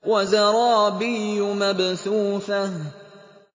وَزَرَابِيُّ مَبْثُوثَةٌ